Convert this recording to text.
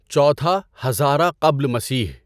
چوتھا ہزاره قبل مسیح